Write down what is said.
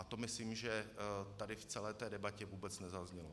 A to myslím, že tady v celé té debatě vůbec nezaznělo.